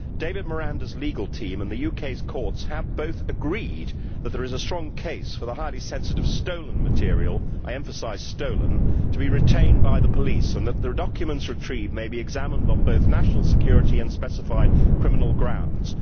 David Miranda's legal team and the UK's courts have both agreed that there is a strong case for the highly sensitive stolen material I emphasise stolen' to be retained by the police and that the documents retrieved may be examined on both national security and specified criminal grounds.